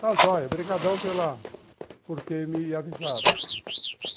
Está, joia, obrigadão por ter me avisado.